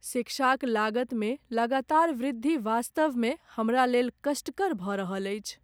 शिक्षाक लागतमे लगातार वृद्धि वास्तवमे हमरालेल कष्टकर भऽ रहल अछि।